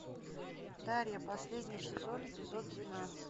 дарья последний сезон эпизод двенадцать